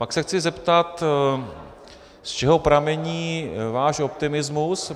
Pak se chci zeptat, z čeho pramení váš optimismus.